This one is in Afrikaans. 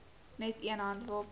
net een handwapen